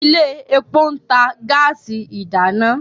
ilé èpo ntà gáàsì ìdáná.